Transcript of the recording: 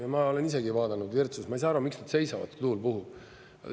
Ja ma olen isegi vaadanud Virtsus, ma ei saa aru, miks nad seisavad, tuul puhub.